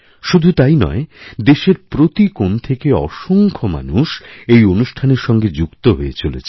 শুধু তাই নয় দেশের প্রতি কোণথেকে অসংখ্য মানুষ এই অনুষ্ঠানের সঙ্গে যুক্ত হয়ে চলেছেন